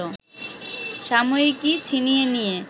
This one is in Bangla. সাময়িকী ছিনিয়ে নিয়ে